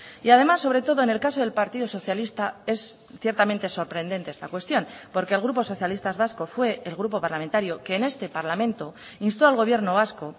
y además sobre todo en el caso del partido socialista es ciertamente sorprendente esta cuestión porque el grupo socialistas vascos fue el grupo parlamentario que en este parlamento instó al gobierno vasco